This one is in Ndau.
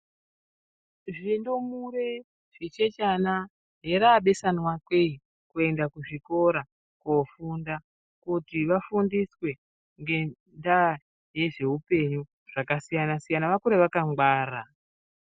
Zvindumure zvichechana haraabeswana kee kuenda kuzvikora koofunda kuti vafundiswe ngendaa yezveupenyu zvakasiyana-siyana vakure vakangwara.